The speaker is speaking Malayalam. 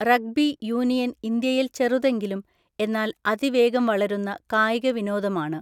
റഗ്ബി യൂണിയൻ ഇന്ത്യയിൽ ചെറുതെങ്കിലും, എന്നാൽ അതിവേഗം വളരുന്ന കായിക വിനോദമാണ്.